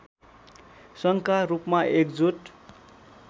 सङ्घका रूपमा एकजुट